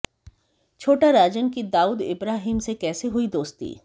छोटा राजन की दाऊद इब्राहिम से कैसे हुई दोस्ती